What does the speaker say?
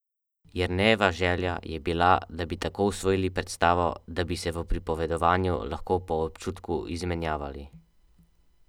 Jernejeva želja je bila, da bi tako usvojili predstavo, da bi se v pripovedovanju lahko po občutku izmenjavali.